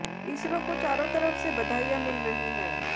इसरो को चारों तरफ से बधाइयां मिल रही हैं